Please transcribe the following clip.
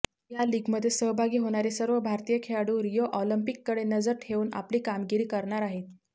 या लीगमध्ये सहभागी होणारे सर्व भारतीय खेळाडू रिओ ऑलिम्पिककडे नजर ठेवून आपली कामगिरी करणार आहेत